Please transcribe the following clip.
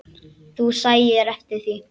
Þú sæir eftir því.